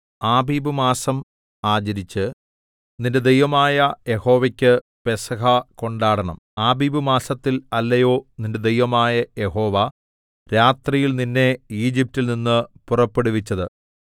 ആബീബ് മാസം ആചരിച്ച് നിന്റെ ദൈവമായ യഹോവയ്ക്ക് പെസഹ കൊണ്ടാടണം ആബീബ് മാസത്തിൽ അല്ലയോ നിന്റെ ദൈവമായ യഹോവ രാത്രിയിൽ നിന്നെ ഈജിപ്റ്റിൽ നിന്ന് പുറപ്പെടുവിച്ചത്